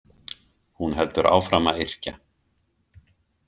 Hún heldur áfram að yrkja.